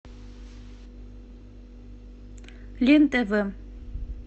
лен тв